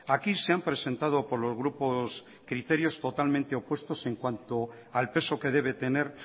aquí se han presentado por los grupos criterios totalmente opuestos en cuanto al peso que debe tener